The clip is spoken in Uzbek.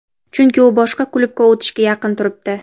chunki u boshqa klubga o‘tishga yaqin turibdi.